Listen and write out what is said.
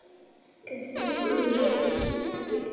Og entist ekki í neinu.